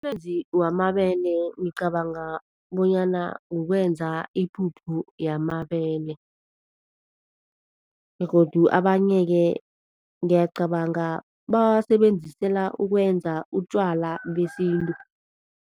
Amanzi wamabele ngicabanga bonyana ukwenza ipuphu yamabele begodu abanye-ke ngiyacabanga bawasebenzisela ukwenza utjwala besintu.